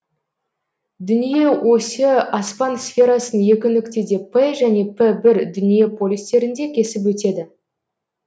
дүние осі аспан сферасын екі нүктеде р және р бір дүние полюстерінде кесіп өтеді